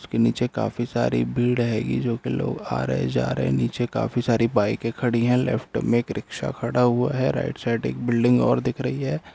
उसके नीचे काफी सारी भीड़ हेगी जो की लोग आ रहे जा रहे हैं नीचे काफी सारी बाइके खड़ी है लेफ्ट मे एक रिक्शा खड़ा हुआ है राइट साइड एक बिल्डिंग और दिख रही है।